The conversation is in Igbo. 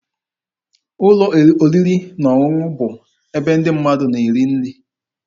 Ụlọ oriri na ọṅụṅụ bụ ebe ndị mmadụ na-eri nri.